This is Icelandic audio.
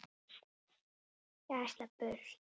Ég ætla burt.